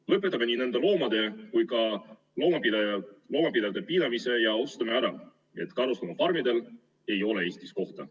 Lõpetame nii nende loomade kui ka loomapidajate piinamise ja otsustame ära, et karusloomafarmidel ei ole Eestis kohta.